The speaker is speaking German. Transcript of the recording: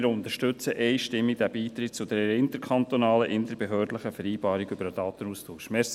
Wir unterstützen einstimmig den Beitritt zur interkantonalen beziehungsweise interbehördlichen Vereinbarung über den Datenaustausch.